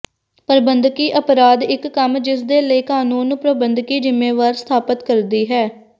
ਪ੍ਰਬੰਧਕੀ ਅਪਰਾਧ ਇੱਕ ਕੰਮ ਜਿਸ ਦੇ ਲਈ ਕਾਨੂੰਨ ਨੂੰ ਪ੍ਰਬੰਧਕੀ ਜ਼ਿੰਮੇਵਾਰੀ ਸਥਾਪਿਤ ਕਰਦੀ ਹੈ